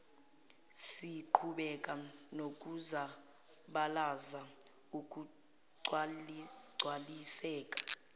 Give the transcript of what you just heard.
siqhubeke nokuzabalazela ukugcwaliseka